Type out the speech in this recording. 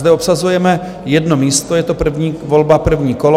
Zde obsazujeme jedno místo, je to první volba, první kolo.